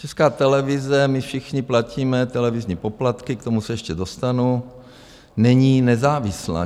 Česká televize, my všichni platíme televizní poplatky, k tomu se ještě dostanu, není nezávislá.